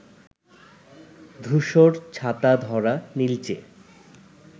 ধূসর ছাতাধরা নীলচে